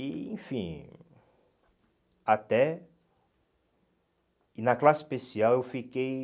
E, enfim... Até... E na classe especial eu fiquei...